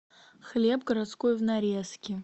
хлеб городской в нарезке